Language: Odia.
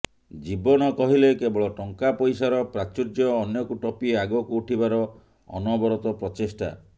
ଜୀବନ କହିଲେ କେବଳ ଟଙ୍କା ପଇସାର ପ୍ରାଚୁର୍ଯ୍ୟ ଅନ୍ୟକୁ ଟପି ଆଗକୁ ଉଠିବାର ଅନବରତ ପ୍ରଚେଷ୍ଟା